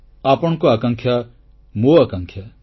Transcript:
ଆପଣଙ୍କ ଆକାଂକ୍ଷା ମୋ ଆକାଂକ୍ଷା